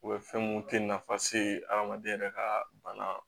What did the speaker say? U bɛ fɛn mun te nafa se adamaden yɛrɛ ka bana